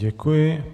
Děkuji.